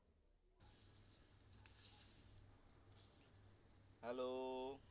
hello